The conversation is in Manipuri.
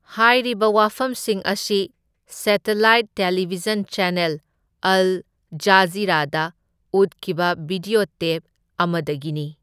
ꯍꯥꯢꯔꯤꯕ ꯋꯥꯐꯝꯁꯤꯡ ꯑꯁꯤ ꯁꯦꯇꯂꯥꯏꯠ ꯇꯦꯂꯤꯚꯤꯖꯟ ꯆꯦꯅꯦꯜ ꯑꯜ ꯖꯥꯖꯤꯔꯥꯗ ꯎꯠꯈꯤꯕ ꯚꯤꯗ꯭ꯌꯣ ꯇꯦꯞ ꯑꯃꯗꯒꯤꯅꯤ꯫